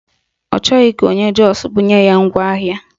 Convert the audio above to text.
Ọ chọghị ka onye Jọs bunye ya ngwaahịa